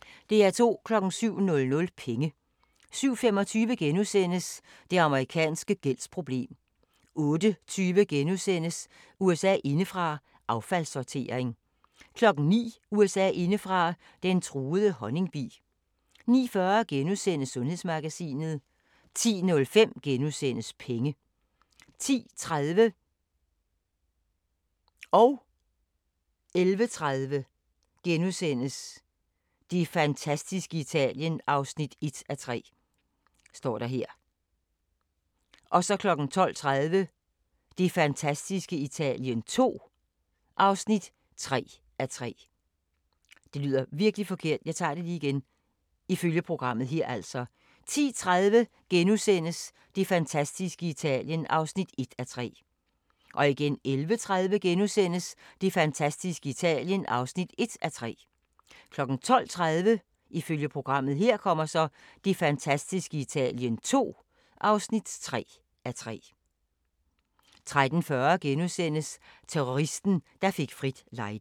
07:00: Penge 07:25: Det amerikanske gældsproblem * 08:20: USA indefra: Affaldssortering * 09:00: USA indefra: Den truede honningbi 09:40: Sundhedsmagasinet * 10:05: Penge * 10:30: Det fantastiske Italien (1:3)* 11:30: Det fantastiske Italien (1:3)* 12:30: Det fantastiske Italien II (3:3) 13:40: Terroristen, der fik frit lejde *